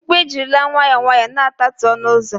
mkpu ejirila nwayọọ nwayọọ na-atatu ọnụ ụzọ